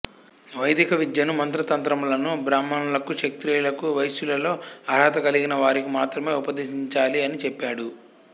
వైదికవిద్యను మంత్రతంత్రములను బ్రాహ్మణులకు క్షత్రియులకు వైశ్యులలో అర్హత కలిగిన వారికి మాత్రమే ఉపదేశించాలి అని చెప్పాడు